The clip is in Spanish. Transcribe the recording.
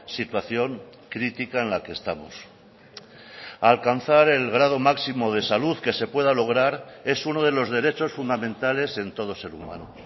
situación crítica en la que estamos alcanzar el grado máximo de salud que se pueda lograr es uno de los derechos fundamentales en todo ser humano